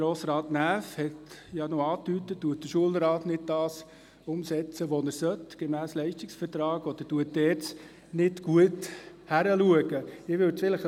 Grossrat Näf hat gefragt, ob der Schulrat nicht umsetze, was er gemäss Leistungsvertrag sollte, oder ob die ERZ nicht genau hinschaue.